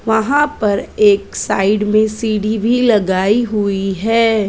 वहाँ पर एक साइड में सीधी भी लगाई हुई है।